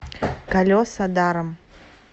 колеса даром